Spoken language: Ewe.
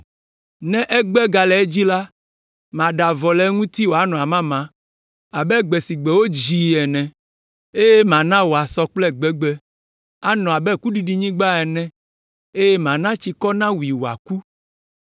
Ne egbe gale edzi la, maɖe avɔ le eŋuti wòanɔ amama abe gbe si gbe wodzii ene, eye mana wòasɔ kple gbegbe, anɔ abe kuɖiɖinyigba ene, eye mana tsikɔ nawui wòaku.